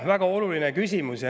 Väga oluline küsimus.